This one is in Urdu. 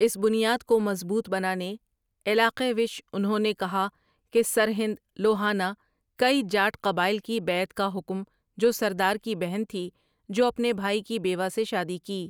اس بنیاد کو مضبوط بنانے، علاقے وش انہوں نے کہا کہ سرہند لوہانہ کئی جاٹ قبائل کی بیعت کا حکم جو سردار کی بہن تھی جو اپنے بھائی کی بیوہ سے شادی کی۔